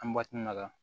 An ka